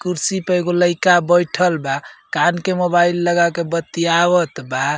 कुर्सी पे एगो लइका बइठल बा। कान के मोबाइल लगा के बातियावत बा।